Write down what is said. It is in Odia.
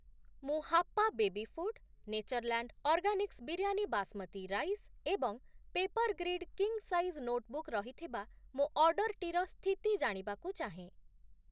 ମୁଁ Happa baby food, Natureland organics biryani basmati rice ଏବଂ ପେପର୍‌ଗ୍ରିଡ୍ କିଙ୍ଗ୍‌ ସାଇଜ୍‌ ନୋଟ୍‌ବୁକ୍‌ ରହିଥିବା ମୋ ଅର୍ଡ଼ର୍‌ଟିର ସ୍ଥିତି ଜାଣିବାକୁ ଚାହେଁ ।